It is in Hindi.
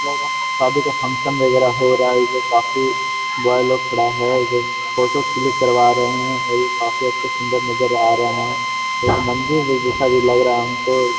लग रहा है शादी का फंक्शन वगैरा हो रहा है एजा काफी बॉय लोग खड़ा है एजा फोटो क्लिक करवा रहें हैं और ये काफी अच्छे सुन्दर नजर आ रहें हैं एक मंदिर भी जैसा भी लग रहा है हमको।